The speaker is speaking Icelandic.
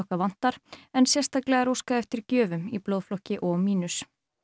vantar en sérstaklega er óskað eftir gjöfum í blóðflokki o mínus